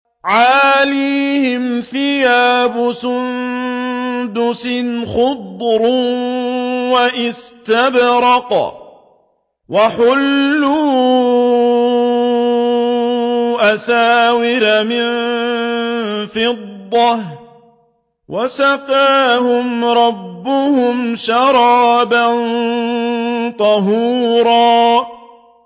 عَالِيَهُمْ ثِيَابُ سُندُسٍ خُضْرٌ وَإِسْتَبْرَقٌ ۖ وَحُلُّوا أَسَاوِرَ مِن فِضَّةٍ وَسَقَاهُمْ رَبُّهُمْ شَرَابًا طَهُورًا